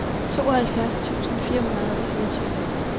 tooghalvfjerds tusind fire hundrede og fireogtyve